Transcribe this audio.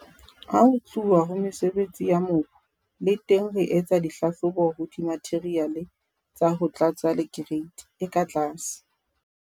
Ha ho tluwa ho mesebetsi ya mobu, le teng re etsa dihlahlobo ho dimatheriale tsa ho tlatsa le kereiti e ka tlase.